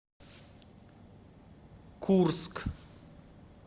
курск